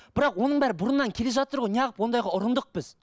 бірақ оның бәрі бұрыннан келе жатыр ғой неғып ондайға ұрындық біз